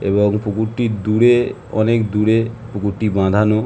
এবং পুকুরটি দূরে অনেক দূরে পুকুরটি বাঁধানো ।